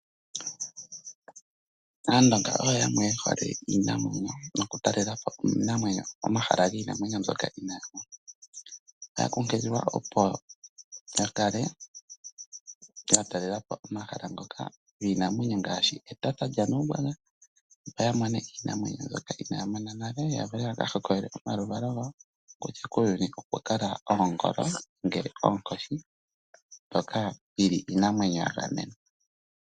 Aaandonga oyo yamwe ye hole iinamwenyo nokutatela po iinamwenyo momahala giinamwenyo mbyoka. Otaya kunkililwa opo ya kale ya talela po omahala ngoka giinamwenyo ngaashi Etosha lyaNuumbwambwa, opo ya mone iinamwenyo mbyoka inaaya mona nale, yo ya vule ya ka hokololele omaluvalo gawo kutya kuuyuni okwa kala oongolo, ngele oonkoshi, mbyoka yi li iinamwenyo ya gamenwa.